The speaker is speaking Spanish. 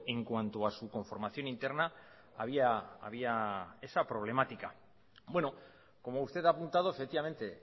en cuanto a su conformación interna había esa problemática bueno como usted ha apuntado efectivamente